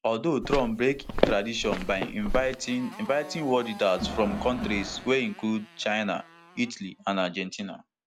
although trump break tradition by inviting inviting world leaders from kontris wey include china italy and argentina